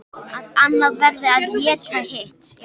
Að annað verði að éta hitt.